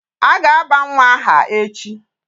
A ga-aba nwa aha echi.